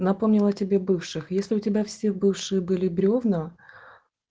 напомнила тебе бывших если у тебя все бывшие были бревна